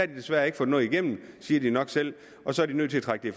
desværre ikke fået noget igennem siger de nok selv og så er de nødt til at trække